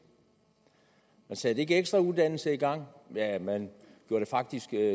man satte ikke ekstra uddannelse i gang ja man gjorde det faktisk